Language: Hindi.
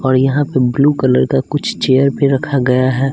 और यहाँ पे ब्लू कलर का कुछ चेयर पे रखा गया है।